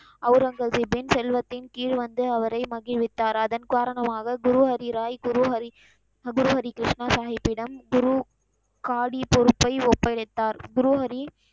அவுரங்கசிப்பின் செல்வத்தின் கீழ் வந்து அவரை மகிழ்வித்தார். அதன் காரணமாக குரு ஹரி ராய், குரு ஹரி, குரு ஹரி கிருஷ்ணா சாஹீபிடம் குரு காடி பொறுப்பை ஒப்படைத்தார். குரு ஹரி,